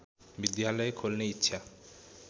विद्यालय खोल्ने इच्छा